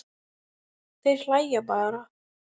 Þeir hlæja bara.